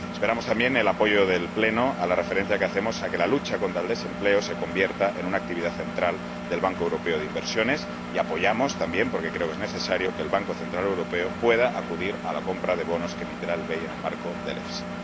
Esperamos también el apoyo del Pleno a la referencia que hacemos a que la lucha contra el desempleo se convierta en una actividad central del Banco Europeo de Inversiones y apoyamos también ―porque creo que es necesario― que el Banco Central Europeo pueda acudir a la compra de bonos que emitirá el BEI en el marco del EFSI.